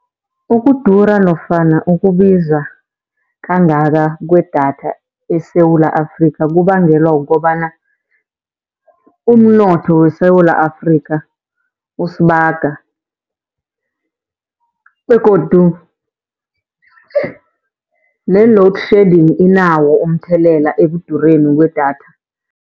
Ukudura nofana ukubiza kangaka kwedatha eSewula Afrikha, kubangelwa kukobana umnotho weSewula Afrikha, usibaga. Begodu ne-loadshedding inawo umthelela ekudureni kwedatha.